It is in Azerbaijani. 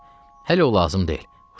Arvad, hələ o lazım deyil.